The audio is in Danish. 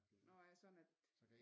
Nåh ja sådan at